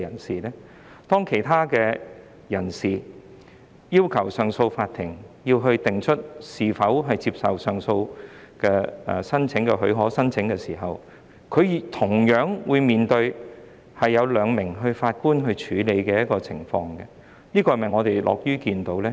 舉例來說，當有人向上訴法庭提出上訴許可申請時，他們同樣會由兩名法官處理其申請，這又是否我們樂於看到的呢？